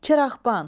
Çıraqban.